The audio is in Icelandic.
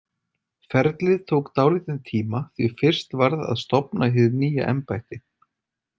Ferlið tók dálítinn tíma, því fyrst varð að stofna hið nýja embætti.